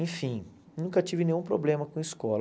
Enfim, nunca tive nenhum problema com escola.